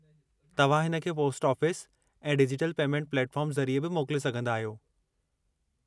तव्हां हिन खे पोस्ट ऑफ़िस ऐं डिजिटल पेमेंट प्लेटफॉर्म ज़रिए बि मोकले सघंदा आहियो।